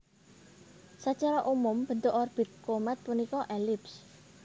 Sacara umum bentuk orbit komèt punika elips